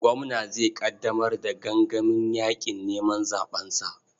Gwamna zai ƙaddamar da gangamin yaƙin neman zaɓensa.